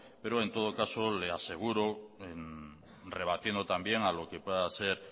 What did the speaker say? pero en todo caso le aseguro rebatiendo también a lo que pueda ser